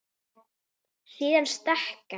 Síðan stökk hann.